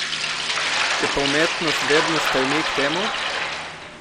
Če pa umetnost vedno stremi k temu?